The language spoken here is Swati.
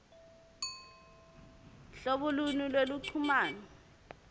hlobo luni lweluchumano